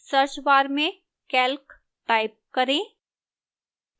search bar में calc type करें